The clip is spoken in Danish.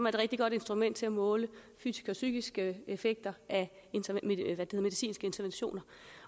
et rigtig godt instrument til at måle fysiske og psykiske effekter af medicinske interventioner